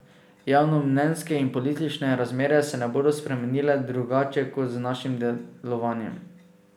Javnomnenjske in politične razmere se ne bodo spremenile drugače kot z našim delovanjem.